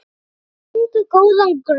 Þeir fengu góðan grunn.